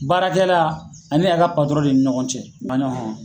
Baarakɛla ani a ka patɔrɔn de ni ɲɔgɔn cɛ maɲɔn hɔn